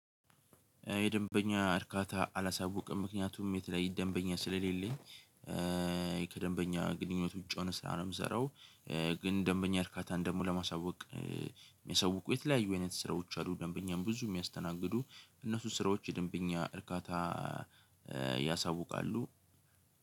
የደንበኛ እርካታ አላሳውቅም ምክንያቱም የተለያየ ደንበኛ ስለሌለኝ ኧኧ ከደንበኛ ግንኙነት ውጪ ነሆነ ስራ ነው የምዘረው። ግን ደንበኛ እርካታን ደሞ ለማሳወቅ የሚያሳውቁ የተለያዩ አይነት ስራዎች አሉ። ደንበኛም ብዙ የሚያስተናግዱ እነሱ ስራዎች የደንበኛ እርካታ ያሳውቃሉ።